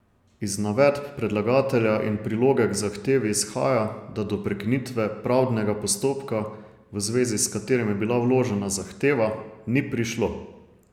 Iz navedb predlagatelja in priloge k zahtevi izhaja, da do prekinitve pravdnega postopka, v zvezi s katerim je bila vložena zahteva, ni prišlo.